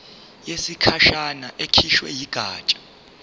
yesikhashana ekhishwe yigatsha